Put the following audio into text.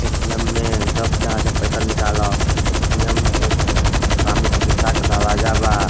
ATM में जब चाहे जब पईसा निकाला। एटीएम के सामने शीशा के दरवाजा बा।